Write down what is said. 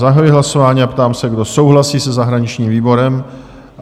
Zahajuji hlasování a ptám se, kdo souhlasí se zahraničním výborem?